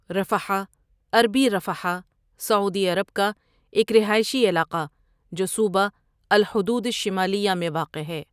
رفحاء عربی رفحاء سعودی عرب کا ایک رہائشی علاقہ جو صوبہ الحدود الشمالیہ میں واقع ہے۔